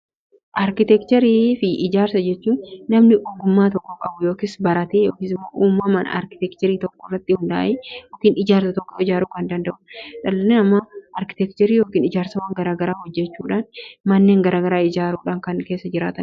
Arkitekcherii fi ijaarsa jechuun namni ogummaa tokko qabu yookiis baratee yookiis uumaman arkitekcherii tokkorratti hundaa'ee yookiin ijaarsa tokko ijaaru kan danda'udha. Dhalli namaa arkitekcheri yookiin ijaarsawwan gara garaa hojjechuudhaan manneen garagaraa ijaaruudhaan kanneen keessa jiraatanidha.